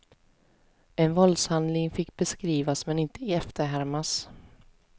En våldshandling fick beskrivas men inte efterhärmas.